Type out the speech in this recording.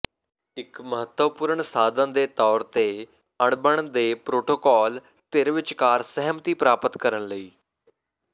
ਇੱਕ ਮਹੱਤਵਪੂਰਨ ਸਾਧਨ ਦੇ ਤੌਰ ਤੇ ਅਣਬਣ ਦੇ ਪਰੋਟੋਕਾਲ ਧਿਰ ਵਿਚਕਾਰ ਸਹਿਮਤੀ ਪ੍ਰਾਪਤ ਕਰਨ ਲਈ